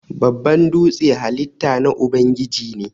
Babban dūtse halitta na Ubangiji ne.